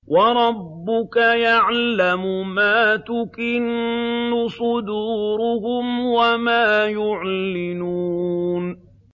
وَرَبُّكَ يَعْلَمُ مَا تُكِنُّ صُدُورُهُمْ وَمَا يُعْلِنُونَ